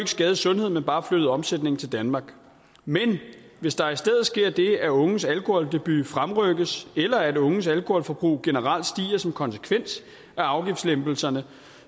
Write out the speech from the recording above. skadet sundheden men bare flyttet omsætningen til danmark men hvis der i stedet sker det at unges alkoholdebut fremrykkes eller at unges alkoholforbrug generelt stiger som konsekvens af afgiftslempelserne